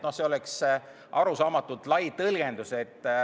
See oleks arusaamatult lai tõlgendus.